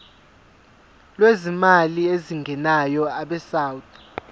lwezimali ezingenayo abesouth